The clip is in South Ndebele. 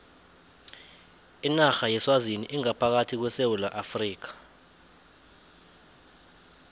inarha yeswazini ingaphakathi kwesewula afrika